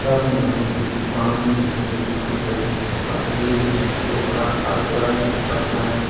यखा फुंडे हम एक दुकानम दिखेण लगीं भारी बड़ी जै पर लेज -लूज कुरकुरा कारकुरन लटकायां।